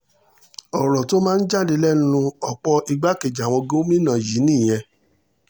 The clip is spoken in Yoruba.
ọ̀rọ̀ tó máa ń jáde lẹ́nu ọ̀pọ̀ igbákejì àwọn gómìnà yìí nìyẹn